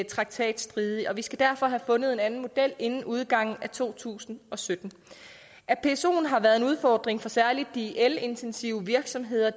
traktatstridig og vi skal derfor have fundet en anden model inden udgangen af to tusind og sytten at psoen har været en udfordring for særlig de elintensive virksomheder